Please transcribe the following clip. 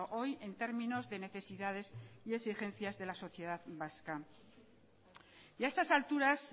hoy en términos de necesidades y exigencias de la sociedad vasca y a estas alturas